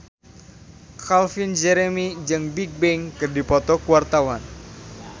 Calvin Jeremy jeung Bigbang keur dipoto ku wartawan